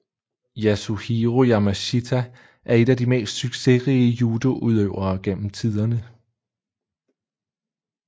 Yasuhiro Yamashita er en af de mest succesrige judoudøvere gennem tiderne